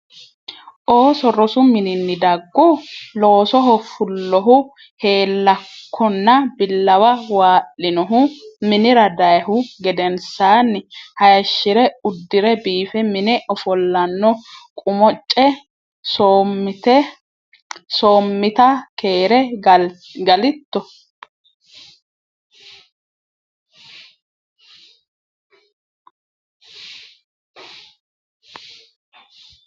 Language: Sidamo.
ooso rosu mininni daggu? Loosoho fullohu heellakkonna billawa waa’linohu minira dayhu gedensaanni hayishshi’re uddi’re biife mine ofollanno Qumuce Soommita keere galitto?